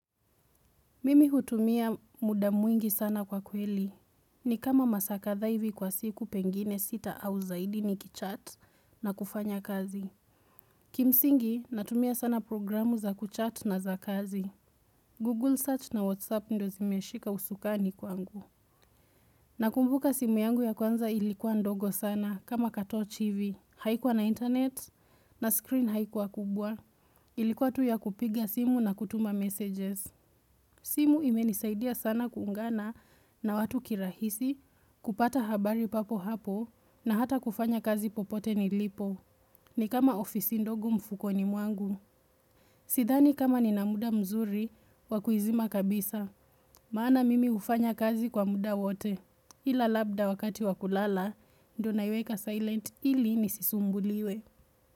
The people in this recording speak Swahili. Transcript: Mimi hutumia muda mwingi sana kwa kweli. Ni kama masaa kadhaa ivi kwa siku pengine sita au zaidi ni kichat na kufanya kazi. Kimsingi natumia sana programu za kuchat na za kazi. Google search na Whatsapp ndo zimeshika usukani kwangu. Nakumbuka simu yangu ya kwanza ilikuwa ndogo sana kama katorch hivi. Haikuwa na internet na screen haikuwa kubwa. Ilikuwa tu ya kupiga simu na kutuma messages. Simu imenisaidia sana kuungana na watu kirahisi kupata habari papo hapo na hata kufanya kazi popote ni lipo ni kama ofisi ndogo mfuko ni mwangu Sidhani kama ni na muda mzuri wakuizima kabisa Maana mimi ufanya kazi kwa muda wote Ila labda wakati wakulala ndo na iweka silent ili nisisumbuliwe.